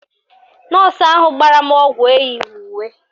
Nọọsụ ahụ gbara m ọgwụ eyighi uwe